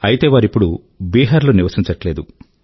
అయితే వారు ఇప్పుడు బీహార్ లో నివసించట్లేదు